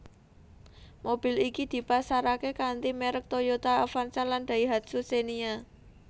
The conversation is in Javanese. Mobil iki dipasaraké kanthi merk Toyota Avanza lan Daihatsu Xenia